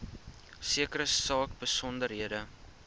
sekere saak besonderhede